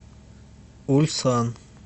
ульсан